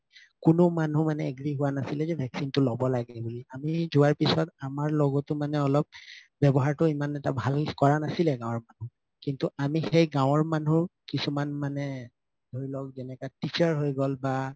কোনো মানুহ মানে agree হুৱা নাছিলে যে vaccination তো লব লাগে বুলি আমি যোৱাৰ পিছত আমাৰ লগতো অলপ ৱ্যাবহাৰতো ইমান এটা ভাল কৰা নাছিল গাওঁৰ মানুহ কিন্তু আমি সেই গাওঁৰ মানুহ কিছুমান মানে ধৰি লওক teacher হয় গল বা